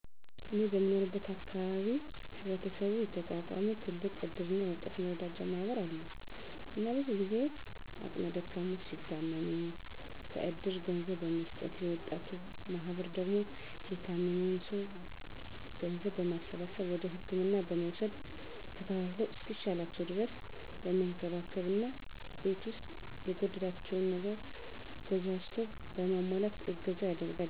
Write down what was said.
እኔ በምኖርበት አካባቢ በህብረተሰቡ የተቋቋመ ትልቅ እድርና የወጣት መረዳጃ ማህበር አለ እና ብዙ ጊዜ አቅመ ደካሞች ሲታመሙ -ከእድሩ ገንዘብ በመስጠት የወጣቱ ማህበር ደግሞ የታመመዉን ሰዉ ገንዘብ በማሰባሰብ ወደ ህክምና በመዉሰድ ተከታትለዉ እስኪሻላቸዉ ድረስ በመንከባከብ እና ቤት ዉስጥ የጎደላቸውን ነገር ገዛዝቶ በማሟላት እገዛ ያደርጋል